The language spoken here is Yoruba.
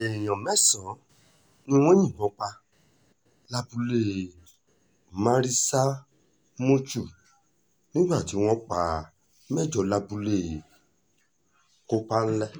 èèyàn mẹ́sàn-án ni wọ́n yìnbọn pa lábúlé maritza-mushu nígbà tí wọ́n pa mẹ́jọ lábúlé kọ́pánlẹ̀